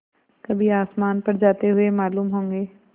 कभी आसमान पर जाते हुए मालूम होंगे